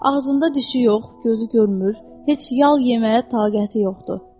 Ağzında dişi yox, gözü görmür, heç yal yeməyə taqəti yoxdur.